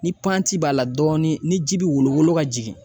Ni b'a la dɔɔni ni ji bi wolo wolo ka jigin